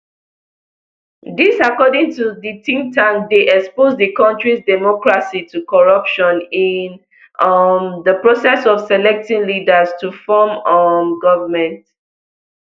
dis according to di think tank dey expose di kontris democracy to corruption in um di process of selecting leaders to form um goment